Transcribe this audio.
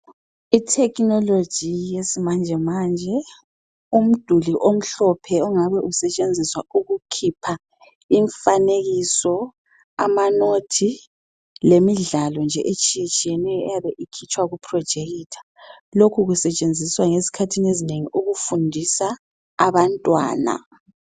Ithekhinoloji yesimanjemanje, umduli omhlophe ongabe usetshenziswa ukukhipha imfanekiso, amanothi lemidlalo nje etshiyetshiyeneyo eyabe ikhitshwa kuprojekitha. Lokhu kusetshenziswa ngezikhathini ezinengi ukufundisa abantwana.